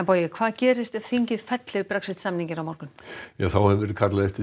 bogi hvað gerist ef þingið fellir Brexit samninginn á morgun það hefur verið kallað eftir